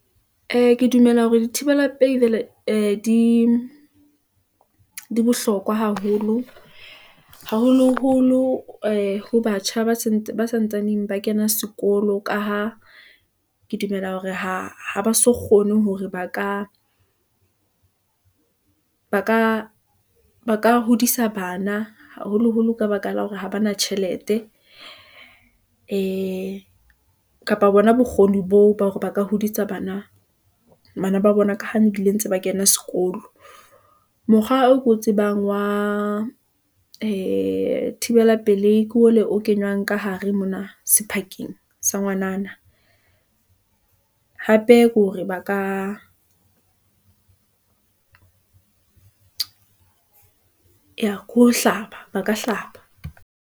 Ee, ke dumela hore dithibela pelei ee di bohlokwa haholo , haholoholo ee ho batjha ba santsane ba kena sekolo, ka ha ke dumela hore ha ba sa kgone, hore ba ka hodisa bana, haholoholo ka baka la hore ha ba na tjhelete , ee kapa bona bokgoni boo, ba hore ba ka hodisa bana ba bona, ka ha ntse ba kena sekolo . Mokgwa oo ke o tsebang wa ee thibela pelehi, ke ole o kenywang ka hare mona sephakeng sa ngwanana , hape ke hore ba ka eya ke ho hlaba, ba ka hlaba.